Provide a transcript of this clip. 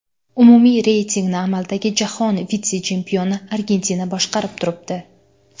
Umumiy reytingni amaldagi jahon vitse-chempioni Argentina boshqarib turibdi.